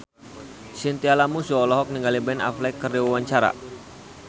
Chintya Lamusu olohok ningali Ben Affleck keur diwawancara